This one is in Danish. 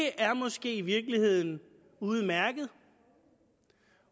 er måske i virkeligheden udmærket